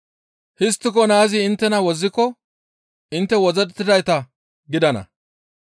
Histtiko naazi inttena wozziko intte wozzettidayta gidana.